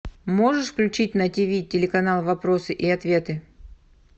можешь включить на тиви телеканал вопросы и ответы